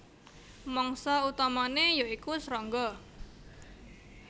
Mangsa utamané ya iku srangga